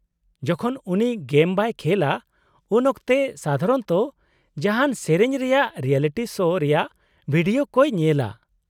-ᱡᱚᱠᱷᱚᱱ ᱩᱱᱤ ᱜᱮᱢ ᱵᱟᱭ ᱠᱷᱮᱞᱼᱟ ᱩᱱᱚᱠᱛᱮ ᱥᱟᱫᱷᱟᱨᱚᱱᱚᱛᱚ ᱡᱟᱦᱟᱱ ᱥᱮᱹᱨᱮᱹᱧ ᱨᱮᱭᱟᱜ ᱨᱤᱭᱮᱞᱤᱴᱤ ᱥᱳ ᱨᱮᱭᱟᱜ ᱵᱷᱤᱰᱤᱭᱳ ᱠᱚᱭ ᱧᱮᱞᱟ ᱾